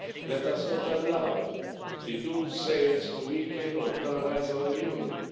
Let us not allow the doomsayers to weaken or paralyze our Union.